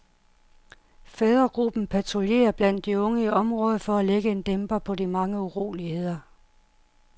Fædregruppen patruljerer blandt de unge i området for at lægge en dæmper på de mange uroligheder.